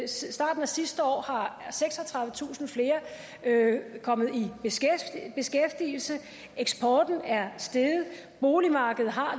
starten af sidste år er seksogtredivetusind flere kommet i beskæftigelse eksporten er steget boligmarkedet har